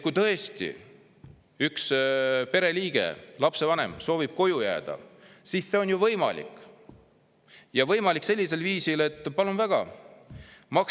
Kui üks lapsevanem soovib koju jääda, siis see on võimalik, aga võimalik sellisel viisil, et – palun väga!